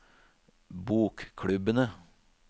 bokklubbene